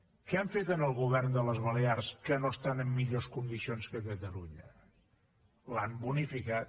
què han fet en el govern de les balears que no estan en millors condicions que catalunya l’han bonificat